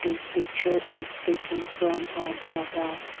this picture is taken from a dhaba.